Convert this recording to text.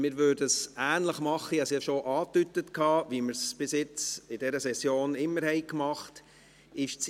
Wir würden es ähnlich machen – ich habe es ja schon angedeutet –, wie wir es bisher in dieser Session immer gemacht haben: